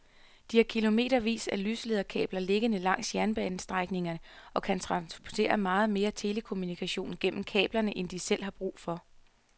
De har kilometervis af lyslederkabler liggende langs jernbanestrækningerne og kan transportere meget mere telekommunikation gennem kablerne end de selv har brug for.